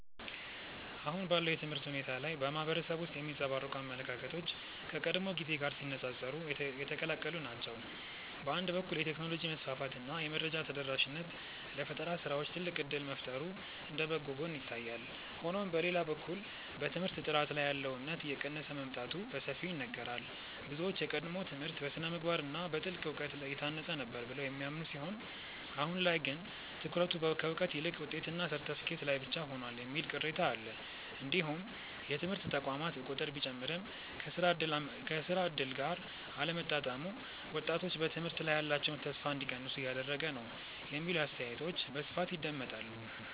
አሁን ባለው የትምህርት ሁኔታ ላይ በማህበረሰቡ ውስጥ የሚንጸባረቁ አመለካከቶች ከቀድሞው ጊዜ ጋር ሲነፃፀሩ የተቀላቀሉ ናቸው። በአንድ በኩል የቴክኖሎጂ መስፋፋት እና የመረጃ ተደራሽነት ለፈጠራ ስራዎች ትልቅ እድል መፍጠሩ እንደ በጎ ጎን ይታያል። ሆኖም በሌላ በኩል በትምህርት ጥራት ላይ ያለው እምነት እየቀነሰ መምጣቱ በሰፊው ይነገራል። ብዙዎች የቀድሞው ትምህርት በስነ-ምግባር እና በጥልቅ እውቀት የታነጸ ነበር ብለው የሚያምኑ ሲሆን አሁን ላይ ግን ትኩረቱ ከእውቀት ይልቅ ውጤትና ሰርተፍኬት ላይ ብቻ ሆኗል የሚል ቅሬታ አለ። እንዲሁም የትምህርት ተቋማት ቁጥር ቢጨምርም ከስራ እድል ጋር አለመጣጣሙ ወጣቶች በትምህርት ላይ ያላቸውን ተስፋ እንዲቀንሱ እያደረገ ነው የሚሉ አስተያየቶች በስፋት ይደመጣሉ።